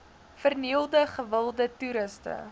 vernielde gewilde toeriste